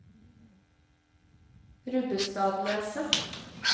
Rubbestadneset